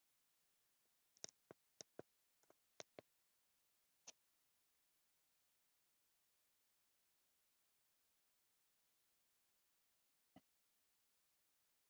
Nú, vissir þú það?